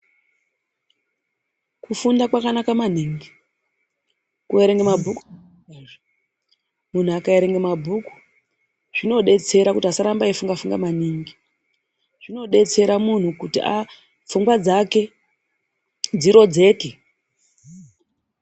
Kufunda kwakanaka maningi, kuerenga mabhuku, munhu akaerenga mabhuku zvinodetsera kuti asaramba eifunga funga maningi, zvinodetsera munhu kuti aah, pfungwa dzake dziroredzeke.